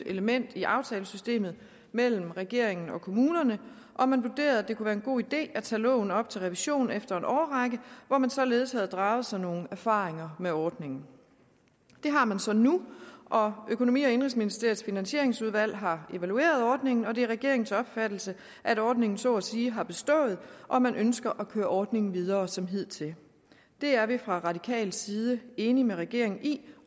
element i aftalesystemet mellem regeringen og kommunerne og man vurderede at det kunne være en god idé at tage loven op til revision efter en årrække hvor man således havde draget sig nogle erfaringer med ordningen det har man så nu og økonomi og indenrigsministeriets finansieringsudvalg har evalueret ordningen og det er regeringens opfattelse at ordningen så at sige har bestået og man ønsker at køre ordningen videre som hidtil det er vi fra radikal side enige med regeringen i